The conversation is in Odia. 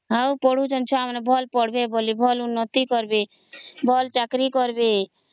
ଆଉ ପଢୁ ଛନ୍ତି ଭଲ ପଢ଼ବେ ବୋଲି ଭଲ ଉନ୍ନତି କାରବେ ବୋଲି ଭଲ ଚାକିରୀ କରିବେ